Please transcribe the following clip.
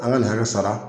An ka nin hakɛ sara